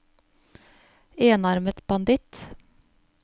enarmet banditt